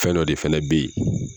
Fɛn dɔ o de fɛnɛ be yen